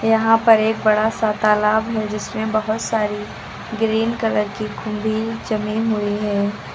यहां पर एक बड़ा सा तालाब है जिसमे बहोत सारी ग्रीन कलर की कुंभी जमी हुई है।